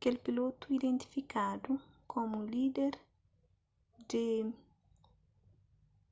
kel pilotu identifikadu komu líder di